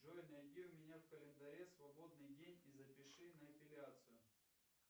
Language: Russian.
джой найди у меня в календаре свободный день и запиши на эпиляцию